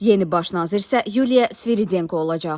Yeni baş nazir isə Yuliya Sviridenko olacaq.